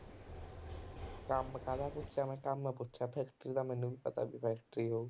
ਕੰਮ ਕਾਹਦਾ ਪੁੱਛਿਆ ਮੈਂ, ਕੰਮ ਪੁੱਛਿਆ factory ਦਾ ਮੈਨੂੰ ਵੀ ਪਤਾ ਵੀ factory ਹੋਊ